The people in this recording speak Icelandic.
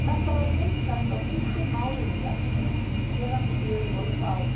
Þetta var vinsælt á fyrstu mánuðum vefsins meðan svör voru fá.